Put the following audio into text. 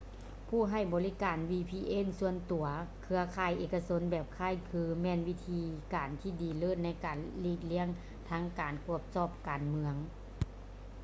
ຜູ້ໃຫ້ບໍລິການ vpn ສ່ວນຕົວ ເຄືອຂ່າຍເອກະຊົນແບບຄ້າຍຄື ​​ແມ່ນວິທີການທີ່ດີເລີດໃນການຫລີກລ້ຽງທັງການກວດສອບການເມືອງ ແລະ ການລະບຸຕໍາແໜ່ງທາງພູມມີສາດໃນທາງການຄ້າ